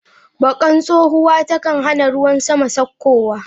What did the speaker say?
Bakkan tsohuwa ta kan hana ruwan sama saukowa.